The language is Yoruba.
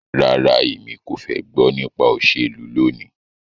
Rara, Emi ko fẹ gbọ nipa iṣelu loni